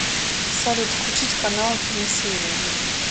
салют включить канал киносерия